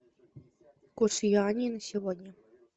курс юаней на сегодня